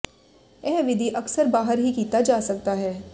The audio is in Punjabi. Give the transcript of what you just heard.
ਇਹ ਵਿਧੀ ਅਕਸਰ ਬਾਹਰ ਹੀ ਕੀਤਾ ਜਾ ਸਕਦਾ ਹੈ